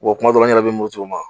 kuma dɔw la n yɛrɛ bɛ muruti u ma.